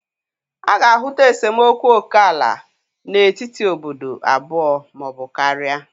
A ga-ahụta esemokwu oke ala n'etiti obodo abụọ ma ọ bụ karịa.